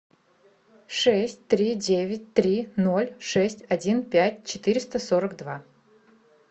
шесть три девять три ноль шесть один пять четыреста сорок два